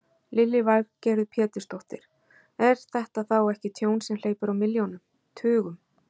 Lillý Valgerður Pétursdóttir: Er þetta þá ekki tjón sem hleypur á milljónum, tugum?